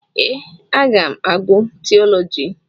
Ee, aga m agụ tiiọlọji.